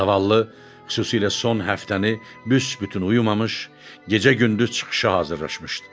Zavallı, xüsusilə son həftəni büsbütün uyumamış, gecə-gündüz çıxışa hazırlaşmışdı.